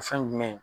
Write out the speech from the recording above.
O fɛn jumɛn ye